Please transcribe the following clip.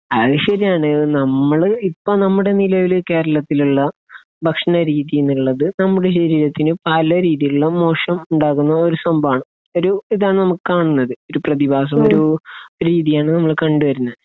അതുശരിയാണ്. നമ്മൾ, ഇപ്പോൾ നമ്മുടെ നിലവിൽ കേരളത്തിലുള്ള ഭക്ഷണരീതി എന്നുള്ളത് നമ്മുടെ ശരീരത്തിന് പല രീതിയിലുള്ള മോശം ഉണ്ടാക്കുന്ന ഒരു സംഭവമാണ്. ഒരു ഇതാണ് നമുക്ക് കാണുന്നത്. ഒരു പ്രതിഭാസം, ഒരു രീതിയാണ് നമ്മൾ കണ്ടുവരുന്നത്.